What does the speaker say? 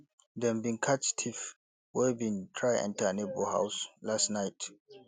dem bin catch thief wey bin try enter neighbour house last night